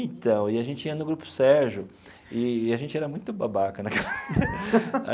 Então e a gente ia no Grupo Sérgio, e a gente era muito babaca né.